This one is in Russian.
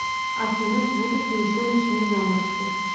афина будут ли еще ночные заморозки